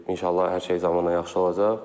İnşallah hər şey zamanla yaxşı olacaq.